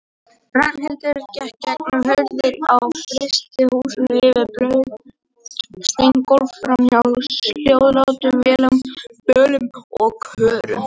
Ragnhildur gekk gegnum hurðir á frystihúsum, yfir blaut steingólf, framhjá hljóðlátum vélum, bölum og körum.